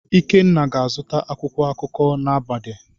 Ikenna ga-azụta akwụkwọ akụkọ na mgbede.